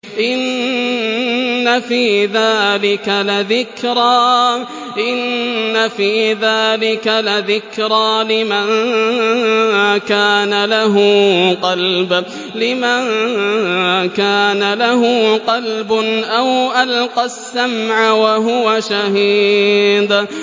إِنَّ فِي ذَٰلِكَ لَذِكْرَىٰ لِمَن كَانَ لَهُ قَلْبٌ أَوْ أَلْقَى السَّمْعَ وَهُوَ شَهِيدٌ